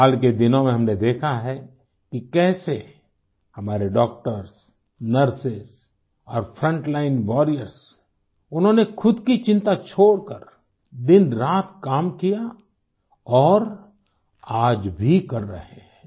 हाल के दिनों में हमने देखा है कि कैसे हमारे डॉक्टर्स नर्सेस और फ्रंट लाइन वॉरियर्स उन्होंनेख़ुद की चिंता छोड़कर दिन रात काम किया और आज भी कर रहे हैं